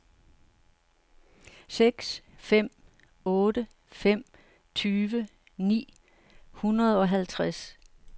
seks fem otte fem tyve ni hundrede og halvtreds